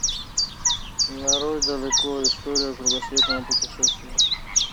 нарой далеко история кругосветного путешествия